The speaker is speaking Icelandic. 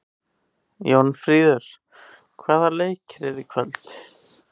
Jónfríður, hvaða leikir eru í kvöld?